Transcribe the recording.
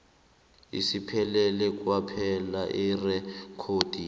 asipheleli kwaphela erekhodini